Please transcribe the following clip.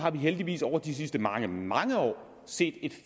har vi heldigvis over de sidste mange mange år set et